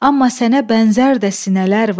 Amma sənə bənzər də sinələr var.